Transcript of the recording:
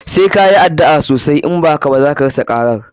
Sai ka yi addu'a osai, in ba haka ba zaka rasa karar.